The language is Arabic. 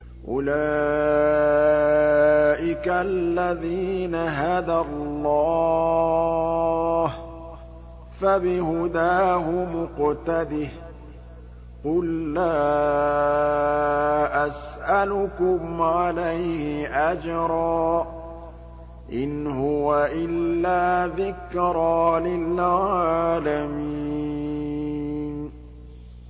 أُولَٰئِكَ الَّذِينَ هَدَى اللَّهُ ۖ فَبِهُدَاهُمُ اقْتَدِهْ ۗ قُل لَّا أَسْأَلُكُمْ عَلَيْهِ أَجْرًا ۖ إِنْ هُوَ إِلَّا ذِكْرَىٰ لِلْعَالَمِينَ